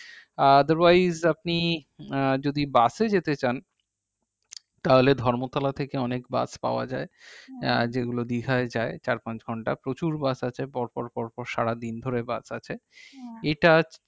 আহ otherwise আপনি আহ যদি বাসে যেতে চান তাহলে ধর্মতলা থেকে অনেক বাস পাওয়া যাই আহ যেগুলো বিহার যাই চার পাঁচ ঘন্টা প্রচুর বাস আছে পর পর পর পর সারাদিন ধরে বাস আছে এটা